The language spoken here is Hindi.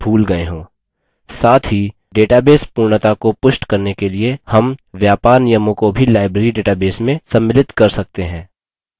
साथ ही database पूर्णता को पुष्ट करने के लिए हम व्यापार नियमों को भी library database में सम्मिलित कर सकते हैं